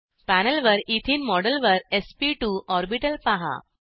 पॅनेलवर एथेने मॉडेलवर SP two orbital पहा